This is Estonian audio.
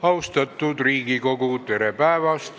Austatud Riigikogu, tere päevast!